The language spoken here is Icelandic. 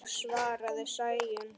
Já, svarar Sæunn.